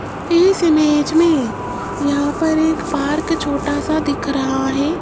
इस इमेज में यहां पर एक पार्क छोटा सा दिख रहा है।